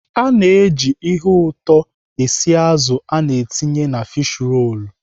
Ana eji ihe ụtọ esi azụ ana etinye na fish rolu.